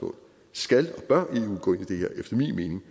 skal vi blive